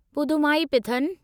Pudhumaipithan